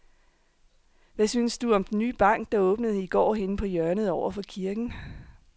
Hvad synes du om den nye bank, der åbnede i går dernede på hjørnet over for kirken?